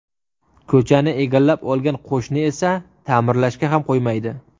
Ko‘chani egallab olgan qo‘shni esa ta’mirlashga ham qo‘ymaydi.